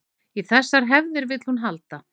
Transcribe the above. Í þessar hefðir vill hún halda